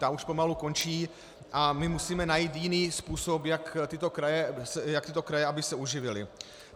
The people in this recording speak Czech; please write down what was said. Ta už pomalu končí a my musíme najít jiný způsob, jak tyto kraje, aby se uživily.